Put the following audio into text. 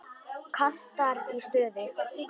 Kantar í stuði.